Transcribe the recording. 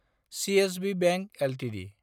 CSB bank Ltd